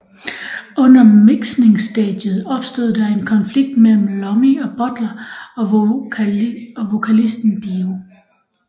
Under miksningstadiet opstod der en konflikt mellem Iommi og Butler og vokalisten Dio